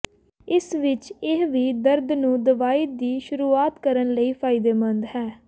ਇਸ ਵਿਚ ਇਹ ਵੀ ਦਰਦ ਨੂੰ ਦਵਾਈ ਦੀ ਸ਼ੁਰੂਆਤ ਕਰਨ ਲਈ ਫਾਇਦੇਮੰਦ ਹੈ